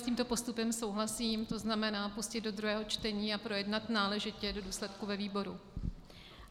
S tímto postupem souhlasím, to znamená pustit do druhého čtení a projednat náležitě do důsledku ve výboru.